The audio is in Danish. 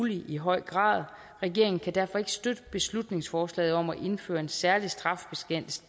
i høj grad muligt regeringen kan derfor ikke støtte beslutningsforslaget om at indføre en særlig straffebestemmelse